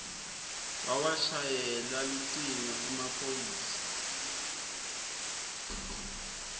wawashayela lucingo emaphoyisa